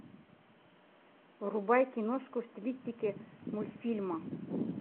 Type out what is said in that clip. врубай киношку в стилистике мультфильма